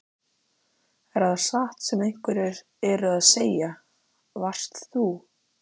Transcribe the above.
Er það satt sem einhverjir eru að segja: Varst þú.